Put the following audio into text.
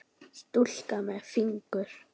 Stúlka með fingur.